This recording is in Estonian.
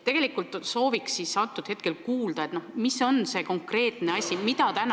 Aga ma sooviksin kuulda, mis on need konkreetsed sammud, mida astutakse.